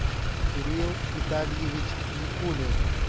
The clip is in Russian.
кирилл витальевич никулин